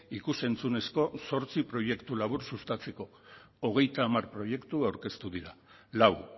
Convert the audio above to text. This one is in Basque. ikus entzunezko zortzi proiektu labur sustatzeko hogeita hamar proiektu aurkeztu dira lau